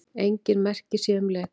Engin merki séu um leka